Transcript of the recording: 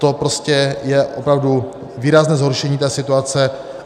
To prostě je opravdu výrazné zhoršení té situace.